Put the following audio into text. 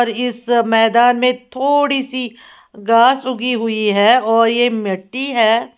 इस मैदान में थोड़ी सी घास उगी हुई है और ये मिट्टी है।